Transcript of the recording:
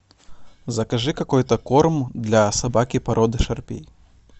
закажи какой то корм для собаки породы шарпей